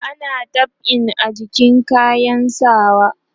ana dab'i a jikin kayan sawa